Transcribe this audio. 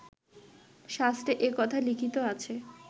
শাস্ত্রে এ কথা লিখিত আছে